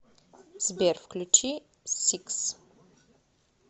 сбер включи сикс